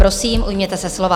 Prosím, ujměte se slova.